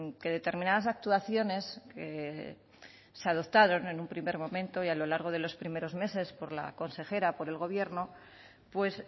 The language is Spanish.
que determinadas actuaciones se adoptaron en un primer momento y a lo largo de los primeros meses por la consejera por el gobierno pues